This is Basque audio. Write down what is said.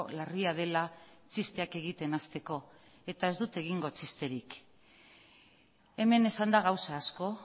larria dela txisteak egiten hasteko eta ez dut egingo txisterik hemen esan da gauza asko